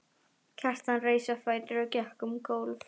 Kjartan reis á fætur og gekk um gólf.